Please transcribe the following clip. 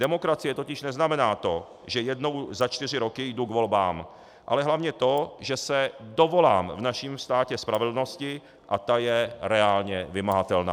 Demokracie totiž neznamená to, že jednou za čtyři roky jdu k volbám, ale hlavně to, že se dovolám v našem státě spravedlnosti a ta je reálně vymahatelná.